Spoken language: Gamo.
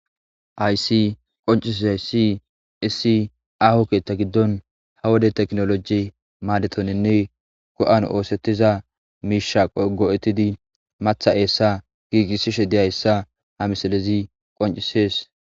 Aysi qoncisesi issi aho keettha giddon ha wode teknoloji maadetonenne go7an oosettiza miisha go7ettidi matha eessa giigissishe diyhayssa ha misalezi qoncisees.